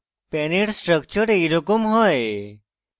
pan এর structure এইরকম হয়